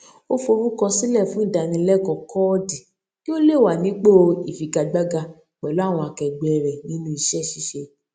ó forúkọ sílè fún ìdánilékòó kóòdì kí ó lè máa wà nípò ìfigagbága pẹlú àwọn akẹgbẹẹ rẹ nínú iṣẹ ṣíṣe